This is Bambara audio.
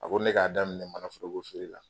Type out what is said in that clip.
A ko ne k'a daminɛ manaforokofeere la